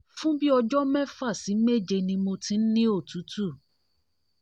fun bi ọjọ́ mẹ́fà sí méje ní mo ti ń ni otutu